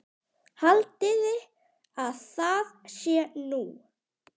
Haldiði að það sé nú!